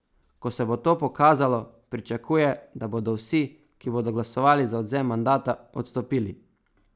Ko se bo to pokazalo, pričakuje, da bodo vsi, ki bodo glasovali za odvzem mandata, odstopili.